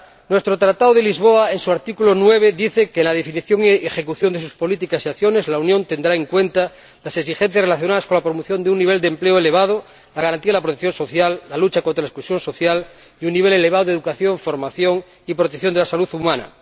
Nuestro Tratado de Funcionamiento de la UE, en su artículo 9, dice que en la definición y ejecución de sus políticas y acciones, la Unión tendrá en cuenta las exigencias relacionadas con la promoción de un nivel de empleo elevado, con la garantía de una protección social adecuada, con la lucha contra la exclusión social y con un nivel elevado de educación, formación y protección de la salud humana.